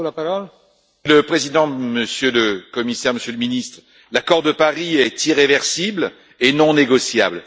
Monsieur le Président, Monsieur le Commissaire, Monsieur le Ministre, l'accord de Paris est irréversible et non négociable.